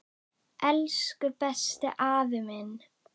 Elsku besti afi minn.